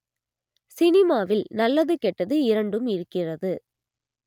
சினிமாவில் நல்லது கெட்டது இரண்டும் இருக்கிறது